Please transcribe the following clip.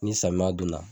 Ni samiya don na